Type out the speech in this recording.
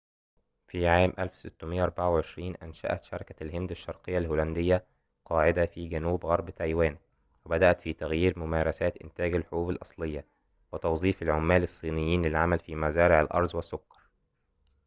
في عام 1624 أنشأت شركة الهند الشرقية الهولندية قاعدة في جنوب غرب تايوان وبدأت في تغيير ممارسات إنتاج الحبوب الأصلية وتوظيف العمال الصينيين للعمل في مزارع الأرز والسكر